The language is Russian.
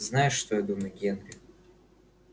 знаешь что я думаю генри